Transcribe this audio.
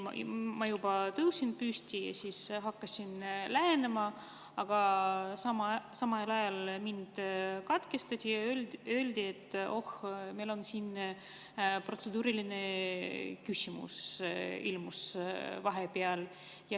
Ma tõusin püsti, hakkasin lähenema ja samal ajal mind katkestati, öeldi, et oh, meil siin ilmus vahepeal protseduuriline küsimus.